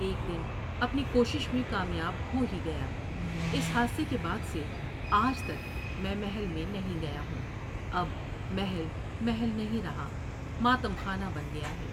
ایک دن اپنی کوشش میں کامیاب ہو ہی گیا۔ اس حادثے کے بعد سے آج تک میں محل میں نہیں گیا ہوں ، اب محل محل نہیں رہا ، ماتم خانہ ، بن گیا ہے ۔